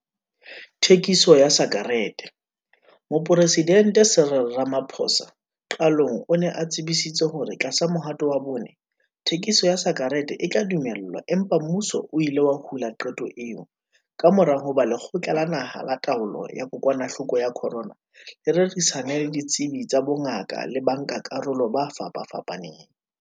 Thekiso ya sakereteMoporesidente Cyril Ramaphosa qalong o ne a tsebisitse hore tlasa Mohato wa Bone, thekiso ya sakerete e tla dumellwa empa mmuso o ile wa hula qeto eo kamora hoba Lekgotla la Naha la Taolo ya Kokwanahloko ya Corona le rerisane le ditsebi tsa bongaka le bankakarolo ba fapafapaneng.